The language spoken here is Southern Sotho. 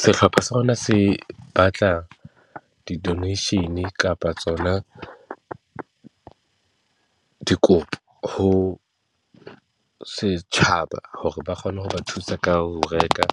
Sehlopha sa rona se batla di-donation kapa tsona dikopo ho setjhaba, hore ba kgone ho ba thusa ka ho reka